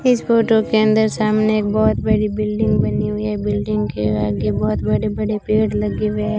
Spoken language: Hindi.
इस फोटो के अंदर सामने एक बहोत बड़ी बिल्डिंग बनी हुई है बिल्डिंग के आगे बहोत बड़े बड़े पेड़ लगे हुए हैं।